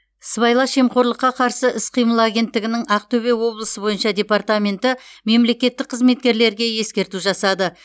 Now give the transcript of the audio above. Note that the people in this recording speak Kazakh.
сыбайлас жемқорлыққа қарсы іс қимыл агенттігінің ақтөбе облысы бойынша департаменті мемлекеттік қызметкерлерге ескерту жасады